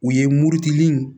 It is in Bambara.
U ye murutili